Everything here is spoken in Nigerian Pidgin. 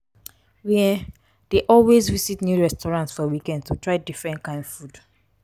we um dey always visit new restaurant for weekend to try different kain food.